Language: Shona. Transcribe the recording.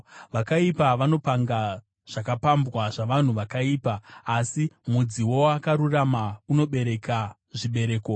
Vakaipa vanopanga zvakapambwa zvavanhu vakaipa, asi mudzi woakarurama unobereka zvibereko.